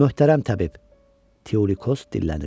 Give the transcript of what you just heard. Möhtərəm təbib, Teulikos dillənir.